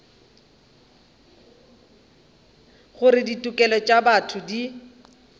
gore ditokelo tša botho di